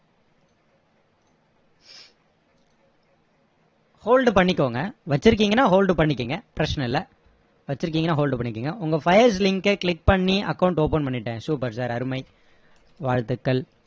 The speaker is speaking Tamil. hold பண்ணிக்கோங்க வச்சிருக்கீங்கன்னா hold பண்ணிக்கோங்க பிரச்சனை இல்ல வச்சிருக்கீங்கன்னா hold பண்ணிக்கோங்க உங்க file link அ click பண்ணி account open பண்ணிட்டேன் super sir அருமை வாழ்த்துக்கள்